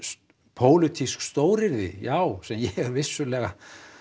pólitísk stóryrði já sem ég vissulega